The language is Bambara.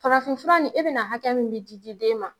Farafinfura nin e bena na hakɛ min di di den ma